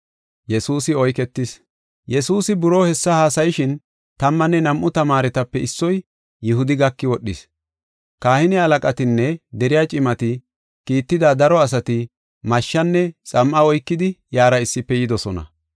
Yesuusi buroo hessa haasayishin, tammanne nam7u tamaaretape issoy, Yihudi gaki wodhis. Kahine halaqatinne deriya cimati kiitida daro asati mashshenne xam7a oykidi iyara issife yidosona.